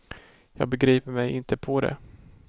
Jag begriper mig inte på det.